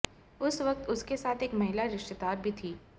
उस वक्त उसके साथ एक महिला रिश्तेदार भी थी